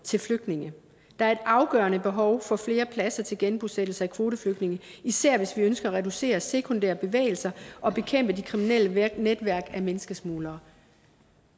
til flygtninge der er et afgørende behov for flere pladser til genbosættelse af kvoteflygtninge især hvis vi ønsker at reducere sekundære bevægelser og bekæmpe de kriminelle netværk af menneskesmuglere